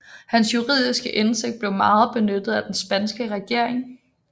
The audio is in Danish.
Hans juridiske indsigt blev meget benyttet af den spanske regering